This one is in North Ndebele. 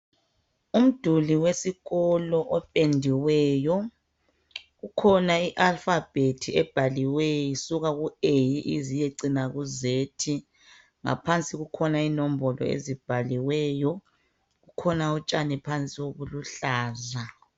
Umduli wesikolo opendiweyo. Kukhona i"alphabet" ebhaliweyo isuka ku"a" ize iyecina ku"z".Ngaphansi kukhona inombolo ezibhaliweyo. Kukhona utshani phansi obuluhlaza.